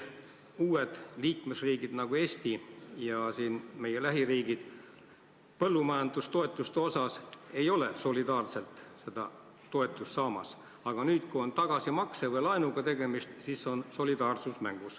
Uued liikmesriigid, nagu Eesti ja meie lähiriigid, ei ole põllumajandustoetuste osas solidaarselt seda toetust saamas, aga nüüd, kui on tegemist tagasimakse või laenuga, siis on solidaarsus mängus.